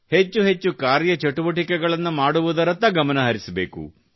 ಹೆಚ್ಚು ಹೆಚ್ಚು ಕಾರ್ಯಚಟುವಟಿಕೆಗಳನ್ನು ಮಾಡುವುದರತ್ತ ಗಮನ ಹರಿಸಬೇಕು